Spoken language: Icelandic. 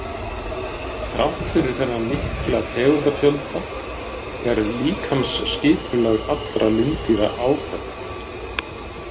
Þrátt fyrir þennan mikla tegundafjölda er líkamsskipulag allra lindýra áþekkt.